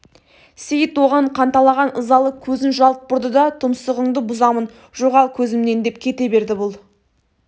сейіт оған қанталаған ызалы көзін жалт бұрды да тұмсығыңды бұзамын жоғал көзімнен деп кете берді бұл